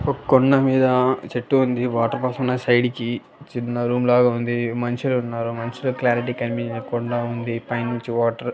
ఒక్ కొండ మీద చెట్టు ఉంది వాటర్ ఫాల్స్ ఉన్నాయి సైడ్ కి చిన్న రూమ్ లాగా ఉంది మనుషులు ఉన్నారు మనుషులు క్లారిటీ కనిపియ్యకుండా ఉంది పై నుంచి వాటర్ --